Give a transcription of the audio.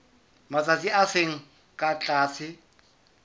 matsatsi a seng ka tlase